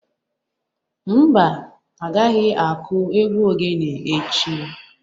Mba, a gaghi-aku egwu oghene echi.